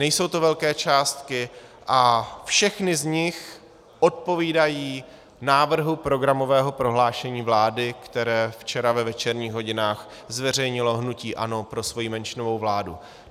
Nejsou to velké částky a všechny z nich odpovídají návrhu programového prohlášení vlády, které včera ve večerních hodinách zveřejnilo hnutí ANO pro svoji menšinovou vládu.